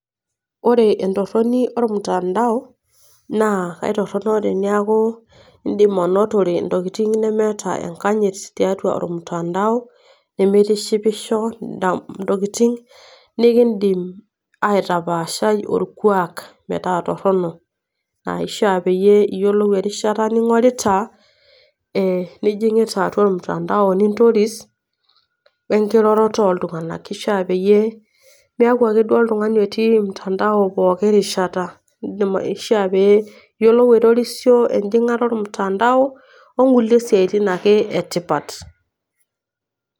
Ore entoroni olmutandao naa aitorono teneaku indim aainotore intokitin nemeta enkanyit tiatua olmutandao, nemeitishipisho indam intokitin nikindim aitapaashai olkuak metaa torrono. Naa keishaa koree erishata ning'orita , nijingita atua olmutandao nintoris we enkororoto oltung'ana, ashu a peyie miaku ake duo oltung'ani otii mutandao pooki rishata. Indim aishaa pee ilo aitorisio enjing'ata olmutandao o nkulie siatin ake e tipat.